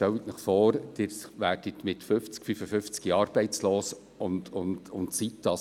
Stellen Sie sich vor, Sie werden im Alter von 50 oder 55 Jahren arbeitslos und bleiben es: